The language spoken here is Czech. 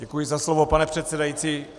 Děkuji za slovo, pane předsedající.